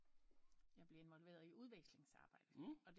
Jeg blev indvolveret i udveksling arbejde og